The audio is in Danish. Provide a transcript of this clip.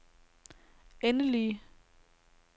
endelige